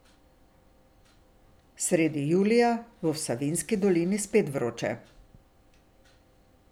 Sredi julija bo v Savinjski dolini spet vroče.